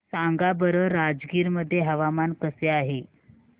सांगा बरं राजगीर मध्ये हवामान कसे आहे